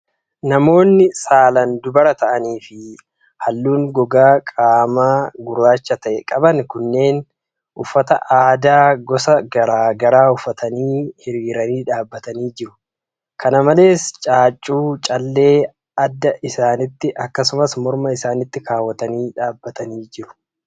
Namoonni saalan dubara ta'an fi haalluu gogaa qaamaa gurraacha ta'e qaban kunneen, uffata aadaa gosa garaa garaa uffatanii, hiriiranii dhaabatanii jiru. Kana malees caaccuu callee adda isaanitti akkasumas morma isaanitti kaawwatanii dhaabatanii jiru.